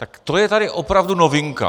Tak to je tady opravdu novinka.